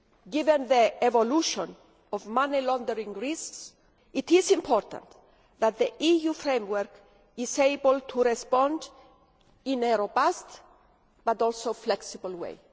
Given the evolution of money laundering risks, it is important that the EU framework is able to respond in a robust but also flexible way.